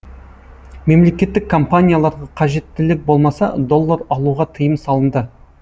мемлекеттік компанияларға қажеттілік болмаса доллар алуға тыйым салынды